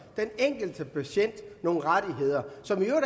den enkelte patient nogle rettigheder som i